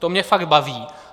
To mě fakt baví!